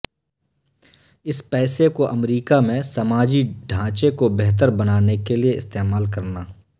اس پیسے کو امریکہ میں سماجی ڈھانچے کو بہتر بنانے کے لیے استعمال کرنا